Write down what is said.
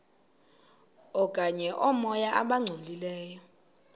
okanye oomoya abangcolileyo